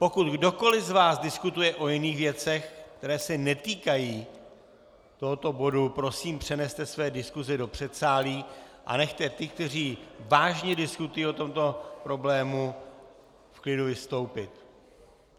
Pokud kdokoli z vás diskutuje o jiných věcech, které se netýkají tohoto bodu, prosím, přeneste své diskuse do předsálí a nechte ty, kteří vážně diskutují o tomto problému, v klidu vystoupit.